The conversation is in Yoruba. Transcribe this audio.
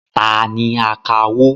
Ta ni akawó?